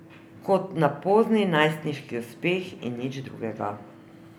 Kot na pozni najstniški uspeh in nič drugega.